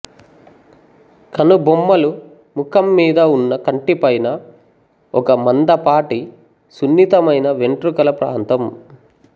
కనుబొమ్మలు ముఖమ్మీద ఉన్న కంటిపైన ఒక మందపాటి సున్నితమైన వెంట్రుకల ప్రాంతం